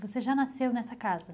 Você já nasceu nessa casa?